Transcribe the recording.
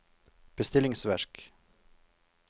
bestillingsverk